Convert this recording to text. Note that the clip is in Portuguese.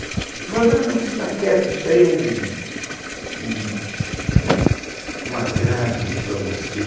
Ele falou, não, não, fica quieto, isso daí é um um agrado para você.